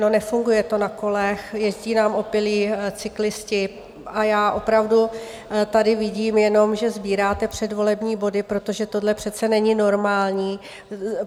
No, nefunguje to na kolech, jezdí nám opilí cyklisti, a já opravdu tady vidím jenom, že sbíráte předvolební body, protože tohle přece není normální.